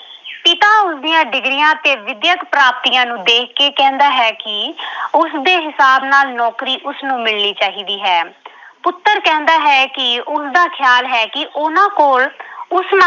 ਪਿਤਾ ਉਸਦੀਆਂ degrees ਤੇ ਵਿਦਿਅਕ ਪ੍ਰਾਪਤੀਆਂ ਨੂੰ ਦੇਖ ਕੇ ਕਹਿੰਦਾ ਹੈ ਕਿ ਉਸਦੇ ਹਿਸਾਬ ਨਾਲ ਨੌਕਰੀ ਉਸਨੂੰ ਮਿਲਣੀ ਚਾਹੀਦੀ ਹੈ। ਪੁੱਤਰ ਕਹਿੰਦਾ ਹੈ ਕਿ ਉਸਦਾ ਖਿਆਲ ਹੈ ਕਿ ਉਹਨਾਂ ਕੋਲ ਉਸ